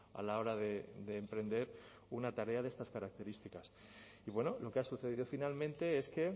a la hora de emprender una tarea de estas características y bueno lo que ha sucedido finalmente es que